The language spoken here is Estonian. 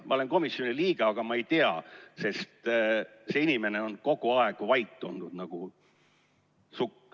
Ma olen komisjoni liige, aga ma ei tea, sest see inimene on kogu aeg olnud vait nagu sukk.